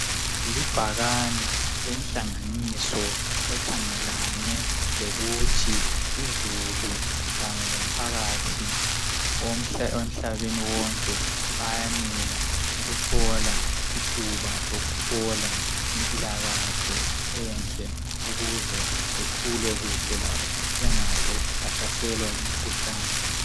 Libhakane lenhlanganiso ekhangelane lokuthi uzulu kanye lomphakathi emhlabeni wonke bayanela ukuthola ithuba lokuthola impilakahle enhle ukuze bekhule kuhle labo bengaze bahlaselwa yimkhuhlane .